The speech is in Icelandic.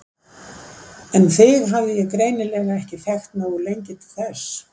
En þig hafði ég greinilega ekki þekkt nógu lengi til þess.